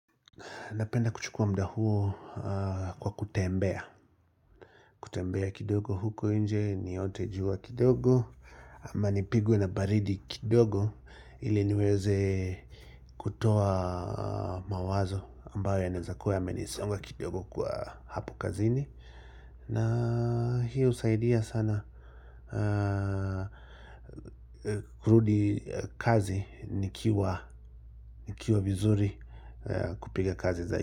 Napenda kuchukua muda huo kwa kutembea, kutembea kidogo huko inje, niote jua kidogo, ama nipigwe na baridi kidogo ili niweze kutoa mawazo ambayo yanaezakua yamenisonga kidogo kwa hapo kazini, na hiyo husaidia sana kurudi kazi nikiwa nikiwa vizuri kupiga kazi zaidi.